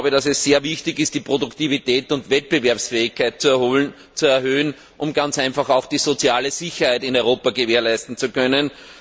Es ist sehr wichtig, die Produktivität und Wettbewerbsfähigkeit zu erhöhen, um ganz einfach auch die soziale Sicherheit in Europa gewährleisten zu können.